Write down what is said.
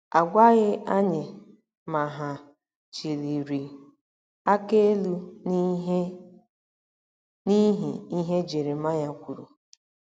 A gwaghị anyị ma hà chịliri aka elu n'ihi ihe Jeremaya kwuru.